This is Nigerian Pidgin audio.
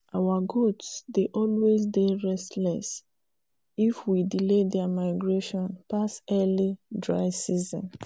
our goats dey always dey restless if we delay there migration pass early dry season